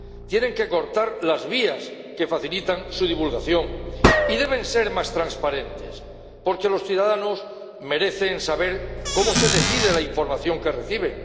Tienen que cortar las vías que facilitan su divulgación y deben ser más transparentes, porque los ciudadanos merecen saber cómo se decide la información que recibe.